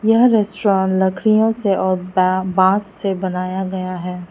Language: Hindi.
यह रेस्टोरेंट लकड़ियों से और बांस से बनाया गया है।